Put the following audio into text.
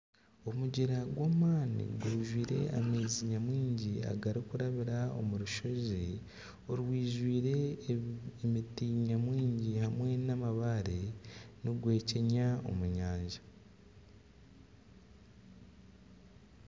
Omugyera gwamaani gwijwire amaizi nyamwingi agari kurabira omu rushozi orwijwire emiti nyamwingi hamwe n'amabaare nigwekyenya omu nyanja.